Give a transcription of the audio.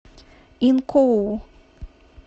инкоу